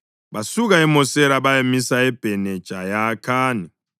Basuka eMosera bayamisa eBhene Jayakhani.